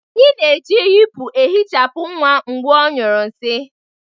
Anyị na-eji yipu ehichapụ nwa mgbe ọ nyuo nsi